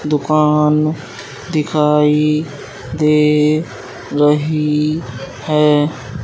दुकान दिखाई दे रही है।